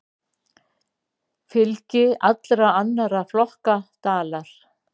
Fylgi allra annarra flokka dalar.